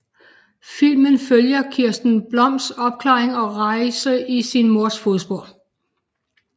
Filmen følger Kirsten Blohms opklaring og rejse i sin mors fodspor